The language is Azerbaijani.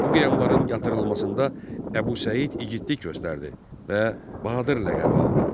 Bu qiyamların yatırılmasında Əbu Səid igidlik göstərdi və Bahadır ləqəbi aldı.